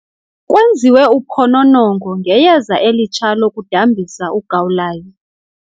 Kwenziwe uphononongo ngeyeza elitsha lokudambisa ugawulayo.